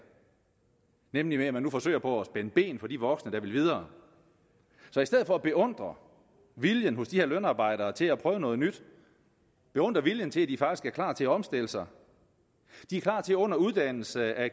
nemlig ved at man nu forsøger på at spænde ben for de voksne der vil videre så i stedet for at beundre viljen hos de her lønarbejdere til at prøve noget nyt beundre viljen til at de faktisk er klar til at omstille sig er klar til under uddannelse at